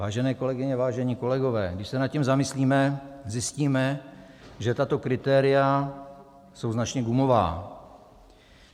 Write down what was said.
Vážené kolegyně, vážení kolegové, když se nad tím zamyslíme, zjistíme, že tato kritéria jsou značně gumová.